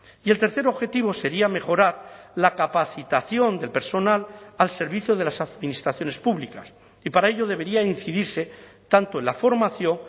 y el tercer objetivo sería mejorar la capacitación del personal al servicio de las administraciones públicas y para ello debería incidirse tanto en la formación